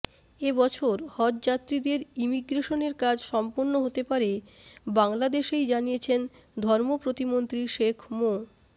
এ বছর হজযাত্রীদের ইমিগ্রেশনের কাজ সম্পন্ন হতে পারে বাংলাদেশেই জানিয়েছেন ধর্ম প্রতিমন্ত্রী শেখ মো